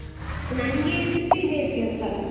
ನಂಗೆ fifteen days ಗೆ ಒಂದ್ಸಲ.